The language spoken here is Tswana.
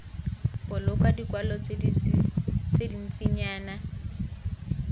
boloka dikwalo tse dintsinyana jljl